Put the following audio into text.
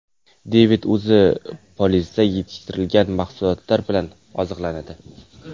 Devid o‘zi polizda yetishtirgan mahsulotlar bilan oziqlanadi.